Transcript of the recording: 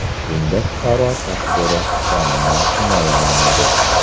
Bunda fuqaro tasviri qonunan himoyalanadi.